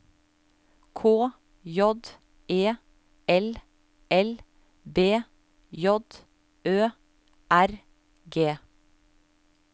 K J E L L B J Ø R G